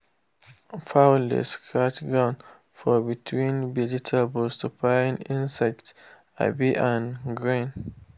fowl dey scratch ground for between vegetable to find insect um and grain.